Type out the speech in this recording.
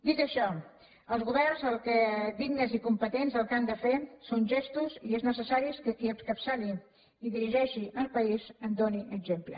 dit això els governs dignes i competents el que han de fer són gestos i és necessari que qui encapçali i dirigeixi el país en doni exemple